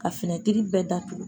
Ka finɛtiri bɛɛ datugu